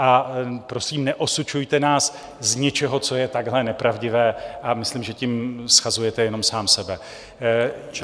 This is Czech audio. A, prosím, neosočujte nás z něčeho, co je takhle nepravdivé, a myslím, že tím shazujete jenom sám sebe.